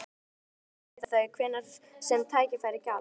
Ég fór til fundar við þau hvenær sem tækifæri gafst.